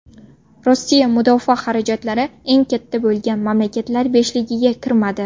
Rossiya mudofaa xarajatlari eng katta bo‘lgan mamlakatlar beshligiga kirmadi.